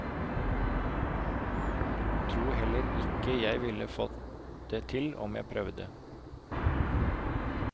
Tror heller ikke jeg ville fått det til om jeg prøvde.